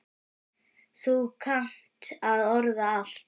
Þú kannt að orða allt.